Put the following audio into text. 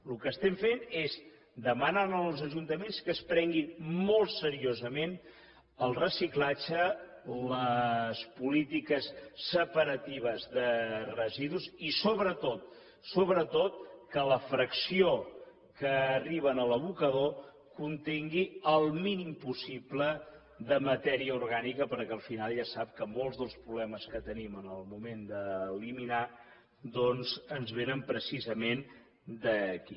el que fem és demanar als ajuntaments que es prenguin molt seriosament el reciclatge les polítiques separatives de residus i sobretot sobretot que la fracció que arriba a l’abocador contingui el mínim possible de matèria orgànica perquè al final ja sap que molts dels problemes que tenim en el moment d’eliminar doncs ens vénen precisament d’aquí